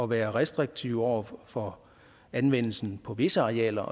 være restriktive over for anvendelsen på visse arealer